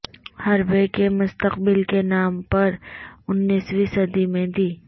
حربے کے مستقبل کے نام پر انیسویں صدی میں دی